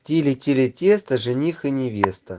тили-тили-тесто жених и невеста